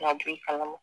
Ka don i kalama